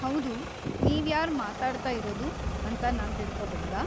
ಹೌದು, ನೀವ್ಯಾರ್ ಮಾತಾಡ್ತಾ ಇರೋದು ಅಂತ ನಾನ್‌ ತಿಳ್ಕೋಬಹುದಾ?